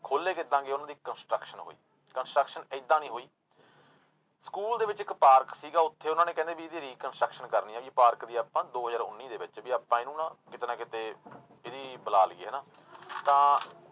ਖੋਲੇ ਕਿੱਦਾਂ ਗਏ ਉਹਨਾਂ ਦੀ construction ਹੋਈ construction ਏਦਾਂ ਨੀ ਹੋਈ ਸਕੂਲ ਦੇ ਵਿੱਚ ਇੱਕ ਪਾਰਕ ਸੀਗਾ ਉੱਥੇ ਉਹਨਾਂ ਨੇ ਕਹਿੰਦੇ ਵੀ ਇਹਦੀ reconstruction ਕਰਨੀ ਆਂ ਵੀ ਪਾਰਕ ਦੀ ਆਪਾਂ ਦੋ ਹਜ਼ਾਰ ਉੱਨੀ ਦੇ ਵਿੱਚ ਵੀ ਆਪਾਂ ਇਹਨੂੰ ਨਾ ਕਿਤੇ ਨਾ ਕਿਤੇ ਇਹਦੀ ਬੁਲਾ ਲਈਏ ਹਨਾ ਤਾਂ